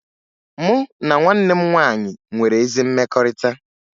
Mụ na nwanne m nwaanyị nwere ezi mmekọrịta